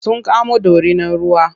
Sun kamo dorinar ruwa.